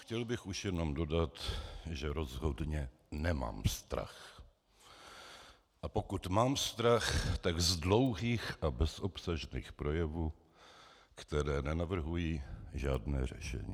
Chtěl bych už jen dodat, že rozhodně nemám strach, a pokud mám strach, tak z dlouhých a bezobsažných projevů, které nenavrhují žádné řešení.